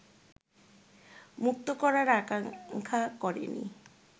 মুক্ত করার আকাঙ্ক্ষা করেনি